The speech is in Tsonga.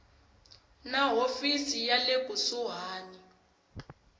na hofisi ya le kusuhani